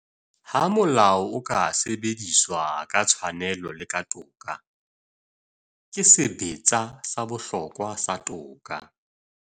Ha molao o ka sebediswa ka tshwanelo le ka toka, ke sebetsa sa bohlokwa sa toka.